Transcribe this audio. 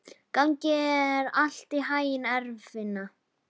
Gangi þér allt í haginn, Eirfinna.